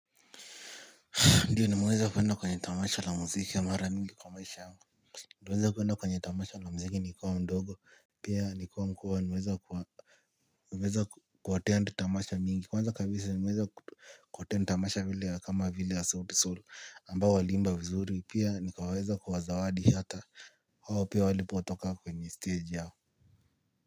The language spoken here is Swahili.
Ndio nimeweza kuenda kwenye tamasha la muziki mara mingi kwa maisha yangu. Nliweza kuenda kwenye tamasha la muziki nikiwa mdogo pia nikiwa mkubwa nimweza kuwa. Nimeweza ku attend tamasha mingi. Kwanza kabisa nimweza ku attend tamasha vile kama vile ya sauti sol ambao waliimba vizuri. Pia nikaweza kuwa zawadi hata hao pia walipotoka kwenye stage yao.